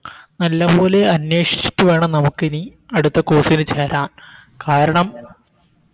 നല്ലപോലെ അന്വേഷിച്ചിട്ട് വേണം നമുക്കിനി അടുത്ത Course ന് ചേരാൻ കാരണം